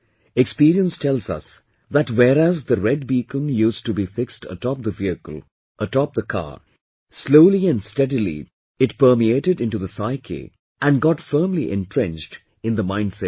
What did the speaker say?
Experience tells us that whereas the red beacon used to be fixed atop the vehicle, atop the car, slowly & steadily it permeated into the psyche and got firmly entrenched in the mindset